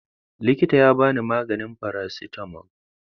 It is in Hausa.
Likitan ya ba ni maganin faracetamol.